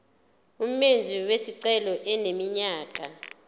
umenzi wesicelo eneminyaka